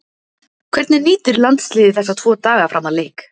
Hvernig nýtir landsliðið þessa tvo daga fram að leik?